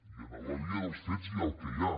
i en la via dels fets hi ha el que hi ha